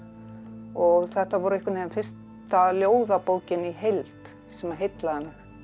og þetta var einhvern veginn fyrsta ljóðabókin í heild sem heillaði mig